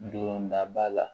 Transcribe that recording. Dondaba la